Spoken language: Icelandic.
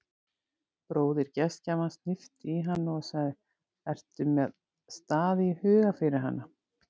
Bróðir gestgjafans hnippti í hana og sagði: ertu með stað í huga fyrir hana?